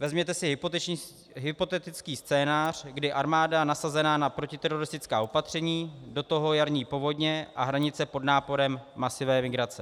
Vezměte si hypotetický scénář, kdy armáda nasazená na protiteroristická opatření, do toho jarní povodně a hranice pod náporem masivní migrace.